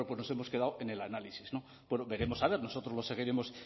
bueno pues nos hemos quedado en el análisis no veremos a ver nosotros lo seguiremos